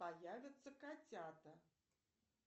появятся котята